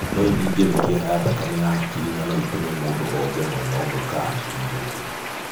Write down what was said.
No ĩthinge mĩkiha ya thakame ya hakiri na no ĩtũme mũndũ oje mwena ũmwe ka hakiri ĩthũke.